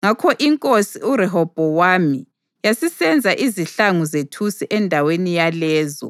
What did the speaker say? Ngakho iNkosi uRehobhowami yasisenza izihlangu zethusi endaweni yalezo